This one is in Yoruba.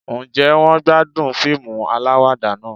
Ǹjẹ́ wọ́n gbádùn fíìmù aláwàdà náà